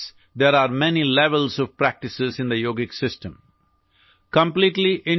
ইয়াৰ বাবে যোগ ব্যৱস্থাত বিভিন্ন স্তৰৰ ক্ৰিয়াৰ সম্পদ আছে